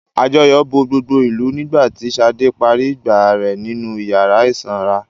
Àjọyọ̀ bo gbogbo ìlù nígbà tí Ṣadé parí ìgbà rẹ̀ nínú ìyàrá ìsanra.